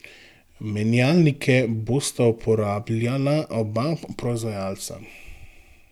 Menjalnike bosta uporabljala oba proizvajalca.